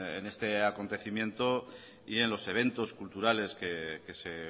en este acontecimiento y en los eventos culturales que se